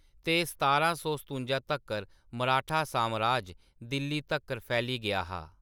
ते सतारां सौ सतुंजा तक्कर मराठा सामराज दिल्ली तक्कर फैली गेआ हा।